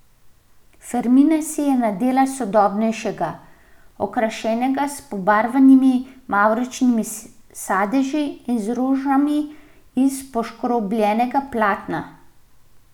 Fermina si je nadela sodobnejšega, okrašenega s pobarvanimi mavčnimi sadeži in z rožami iz poškrobljenega platna.